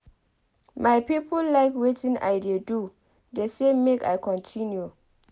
My people like wetin I dey do dey say make I continue.